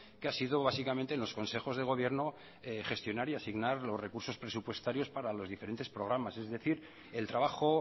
que ha sido básicamente en los consejos de gobierno gestionar y asignar los recursos presupuestarios para los diferentes programas es decir el trabajo